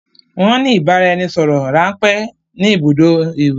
Won ni ìbáraẹnisọọ̀rọ̀ ránpẹ́ ni ibùdó ìwẹ̀.